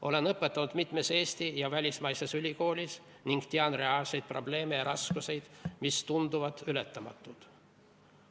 Olen õpetanud mitmes Eesti ja välismaises ülikoolis ning tean reaalseid probleeme ja raskusi, mis tunduvad ületamatud.